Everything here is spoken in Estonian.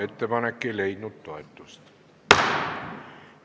Ettepanek ei leidnud toetust.